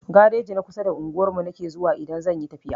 Gareji na kusa da unguwar mu nake zuwa idan zakayi tafiya